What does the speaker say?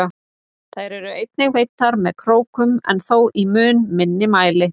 Þær eru einnig veiddar með krókum en þó í mun minni mæli.